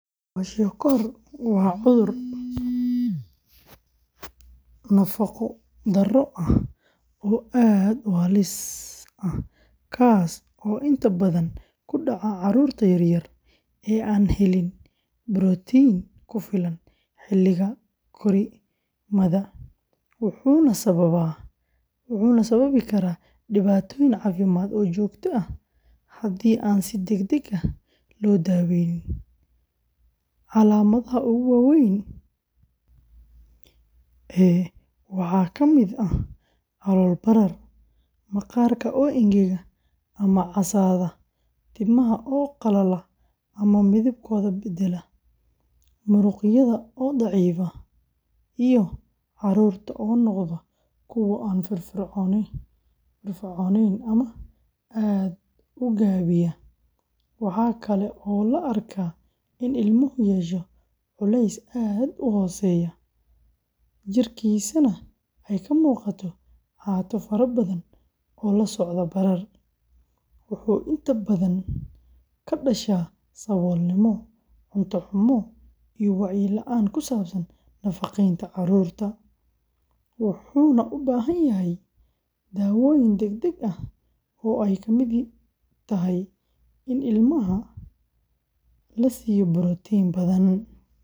Kwashiorkor waa cudur nafaqo-darro ah oo aad u halis ah, kaas oo inta badan ku dhaca carruurta yar yar ee aan helin borotiin ku filan xilliga korriimada, wuxuuna sababi karaa dhibaatooyin caafimaad oo joogto ah haddii aan si degdeg ah loo daweynin. Calaamadaha ugu waaweyn ee waxaa ka mid ah calool barar, maqaarka oo engega ama casaada, timaha oo qalala ama midabkooda beddela, muruqyada oo daciifa, iyo carruurta oo noqda kuwo aan firfircoonayn ama aad u gaabiya. Waxaa kale oo la arkaa in ilmuhu yeesho culeys aad u hooseeya, jidhkiisana ay ka muuqato caato faro badan oo la socda barar, wuxuu inta badan ka dhashaa saboolnimo, cunto xumo, iyo wacyi la’aan ku saabsan nafaqeynta carruurta, wuxuuna u baahan yahay daawayn degdeg ah oo ay ka mid tahay in ilmaha la siiyo borotiin badan.